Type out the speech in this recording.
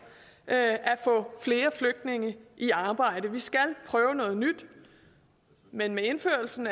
at få flere flygtninge i arbejde vi skal prøve noget nyt men med indførelsen